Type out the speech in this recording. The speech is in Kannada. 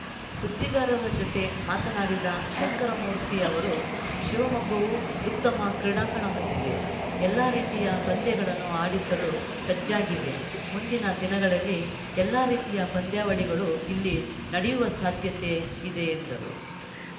ಸುದ್ದಿಗಾರರ ಜೊತೆ ಮಾತನಾಡಿದ ಶಂಕರಮೂರ್ತಿ ಅವರು ಶಿವಮೊಗ್ಗವು ಉತ್ತಮ ಕ್ರೀಡಾಂಗಣ ಹೊಂದಿದೆ ಎಲ್ಲ ರೀತಿಯ ಪಂದ್ಯಗಳನ್ನು ಆಡಿಸಲು ಸಜ್ಜಾಗಿದೆ ಮುಂದಿನ ದಿನಗಳಲ್ಲಿ ಎಲ್ಲ ರೀತಿಯ ಪಂದ್ಯಾವಳಿಗಳು ಇಲ್ಲಿ ನಡೆಯುವ ಸಾಧ್ಯತೆ ಇದೆ ಎಂದರು